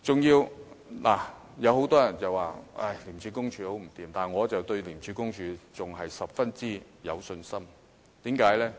有很多人批評廉署很不濟，但我對廉署仍然十分有信心，為甚麼？